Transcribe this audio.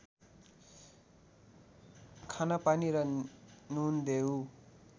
खान पानी र नुन देऊ